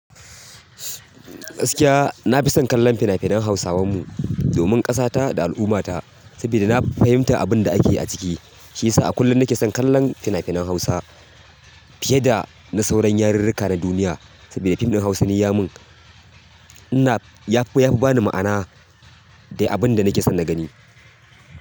Gaskiya na fi son kallon fina-finan Hausawa mu domin ƙasata da al'ummata saboda na fahimta abin da ake yi a ciki. Shi yasa a kullum na ke son kallon fina-finan Hausa fiye da na sauran yarirrika na duniya saboda fim ɗin Hausa ne ya mun, ina, ya fi, ya fi ba ni ma'ana da abin da nake son na gani.